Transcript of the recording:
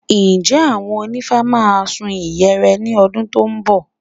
Ǹjẹ́ àwọn onífá máa sun ìyẹ̀rẹ̀ ní ọdún tó ń bọ̀?